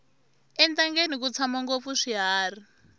entangeni ku tshama ngopfu swiharhi